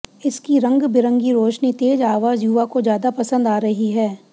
इसकी रंगबिरंगी रोशनी तेज आवाज युवा को ज्यादा पसंद आ रही है